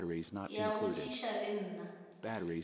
ke a botšiša le nna